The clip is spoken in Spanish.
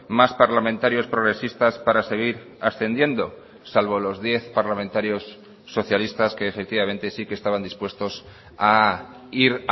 más parlamentarios progresistas para seguir ascendiendo salvo los diez parlamentarios socialistas que efectivamente sí que estaban dispuestos a ir